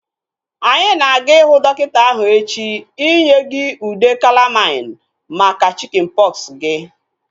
Anyị na-aga ihu dọkịta ahu echi inye gị ude kalamain maka chikin pọksi gị